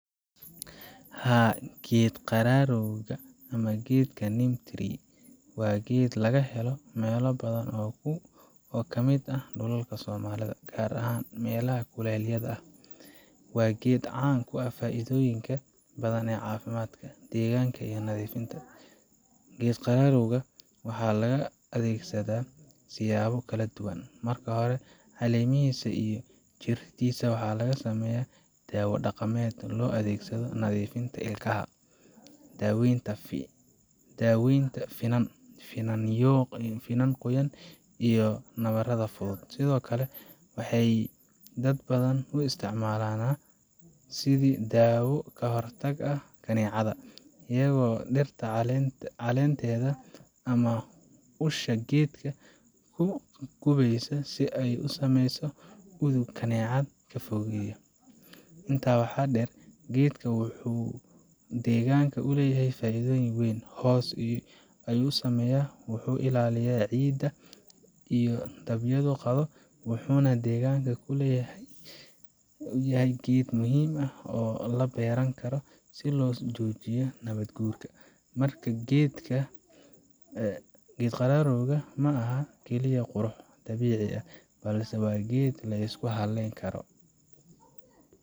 Haa, geed qararowga ama geedka neem tree waa geed laga helo meelo badan oo ka mid ah dhulka Soomaalida, gaar ahaan meelaha kuleylaha ah. Waa geed caan ku ah faa’iidooyin ka badan oo caafimaad, deegaan iyo nadiifinba leh. geed qararowga waxaa loo adeegsadaa siyaabo kala duwan. Marka hore, caleemihiisa iyo jirriddiisa waxaa laga sameeyaa dawo dhaqameed loo adeegsado nadiifinta ilkaha, daawaynta finan, finan qoyan, iyo nabarrada fudud. Sidoo kale, waxay dad badan u isticmaalaan neembe sidii dawo ka hortag u ah kaneecada, iyagoo dhirta caleenteeda ama usha geedka ku gubaya si ay u sameyso udug kaneecada ka fogeeya. Intaa waxaa dheer, geedkan wuxuu degaanka u leeyahay faa’iido weyn hoos ayuu sameeyaa, wuxuu ilaaliyaa ciidda inuu dabayluhu qaado, wuxuuna deegaannada kulaylaha ah u yahay geed muhiim ah oo la beeran karo si loo joojiyo nabaad guurka. Marka, geed qararowga ma aha oo kaliya qurux dabiici ah, balse waa geed la isku halleyn karo.